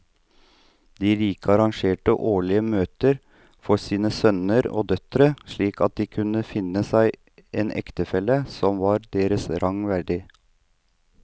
De rike arrangerte årlige møter for sine sønner og døtre slik at de kunne finne seg en ektefelle som var deres stand verdig.